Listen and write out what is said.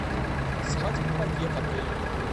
свадебный пакет отель